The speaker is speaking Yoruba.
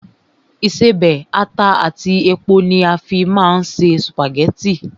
Ìṣebẹ̀, ata àti epo ni a fín máa ń se sùpàgẹ́tì